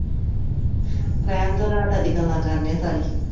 ਰਹਿਣ ਦੋ ਰਾਤ ਅੱਜ ਗੱਲਾਂ ਕਰਨੇ ਆ ਸਾਰੀ